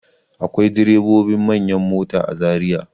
Akwai direbobin manyan mota a Zariya.